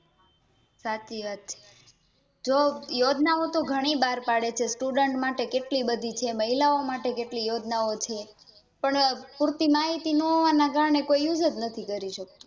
સાચી વાત છે જો યોજના ઓતો ગણી બાર પાડે છે Student માટે કેટલી બધી છે મહિલાઓં માટે કેટલી છે પણ પુરતી માહિતીજ નહોવા ના કારણે કોઈ Use જ નથી કરી શકતું